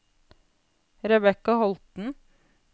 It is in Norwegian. Rebecca Holten